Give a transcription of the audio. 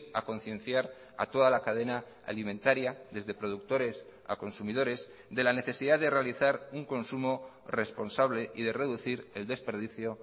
a concienciar a toda la cadena alimentaria desde productores a consumidores de la necesidad de realizar un consumo responsable y de reducir el desperdicio